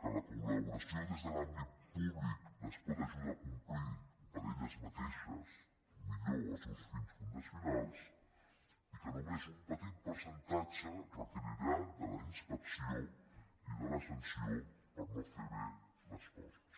que la col·laboració des de l’àmbit públic les pot ajudar a complir per elles mateixes millor els seus fins fundacionals i que només un petit percentatge requerirà la inspecció i la sanció per no fer bé les coses